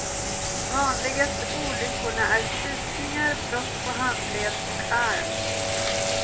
Vanligaste olyckorna är stukningar, brott på handled och arm.